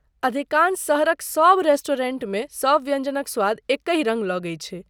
अधिकांश शहरक सब रेस्टोरेंटमे सब व्यञ्जनक स्वाद एकहि रङ्ग लगै छै।